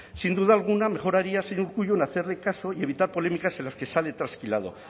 sin duda alguna mejoraría señor urkullu en hacerle caso y evitar polémicas en las que sale trasquilado